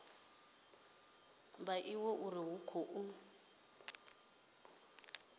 vha ivhe uri hu khou